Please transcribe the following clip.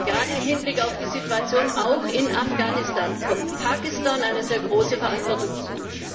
Gerade auch im Hinblick auf die Situation in Afghanistan kommt Pakistan eine sehr große Verantwortung zu.